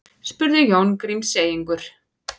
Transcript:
spurði Jón Grímseyingur.